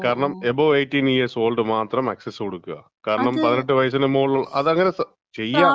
കാരണം above 18 years old മാത്രം access കൊടുക്കാ. കാരണം, 18 വയസിന് മോളില് മാത്രം ഉള്ള, അതങ്ങനെ ചെയ്യാ,